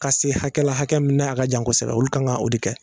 Ka se hakɛ la hakɛ minɛ n'a ka jan kosɛbɛ olu kan ka o de kɛ